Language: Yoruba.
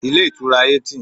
Ilé Ìtura Hilton